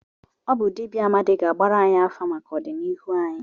Ọ bụ dibịa Amadi ga-agbara anyị afa maka ọdịnihu anyị.